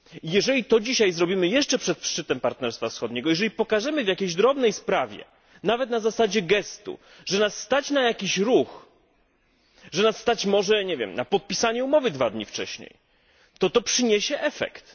Jeżeli to dzisiaj zrobimy jeszcze przed szczytem Partnerstwa Wschodniego, jeżeli pokażemy w jakiejś drobnej sprawie, nawet na zasadzie gestu, że nas stać na jakiś ruch, że nas stać może na podpisanie umowy dwa dni wcześniej, to przyniesie to efekt.